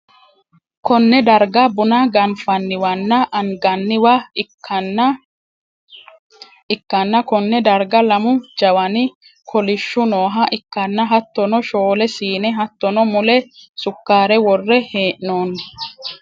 konne darga buna ganfanniwanna anganniwa ikkanna, konne darga lamu jawani kolishhsu nooha ikkanna, hattono shoole siine hattono, mule sukkare worre hee'noonni .